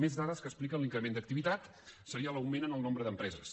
més dades que expliquen l’increment d’activitat seria l’augment en el nombre d’empreses